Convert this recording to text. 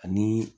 Ani